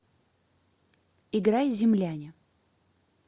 играй земляне